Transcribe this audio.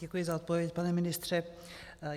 Děkuji za odpověď, pane ministře.